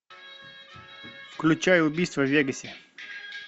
включай убийство в вегасе